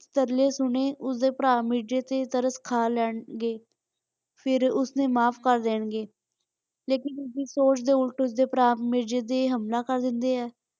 ਕਿ ਤਰਲੇ ਸੁਣੇ ਕਿ ਉਸਦੇ ਭਰਾ ਮਿਰਜੇ ਤੇ ਤਰਸ ਖਾ ਲੈਣਗੇ ਫਿਰ ਉਸਨੂੰ ਮਾਫ ਕਰਦੇਣਗੇ ਲੇਕਿਨ ਉਸਦੀ ਸੋਚ ਦੇ ਉਲਟ ਉਸਦੇ ਭਰਾ ਮਿਰਜੇ ਤੇ ਹਮਲਾ ਕਰ ਦਿੰਦੇ ਹੈ।